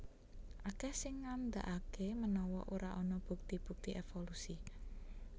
Akèh sing ngandhakaké menawa ora ana bukti bukti évolusi